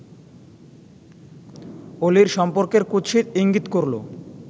অলির সম্পর্কের কুৎসিত ইঙ্গিত করল